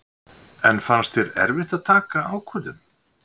Hafsteinn: En fannst þér erfitt að taka ákvörðun?